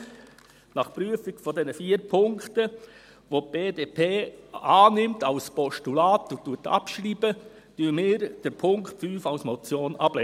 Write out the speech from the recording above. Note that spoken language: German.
Daher: Nach Prüfung dieser vier Punkte, welche die BDP als Postulat annimmt und abschreibt, lehnen wir den Punkt 5 als Motion ab.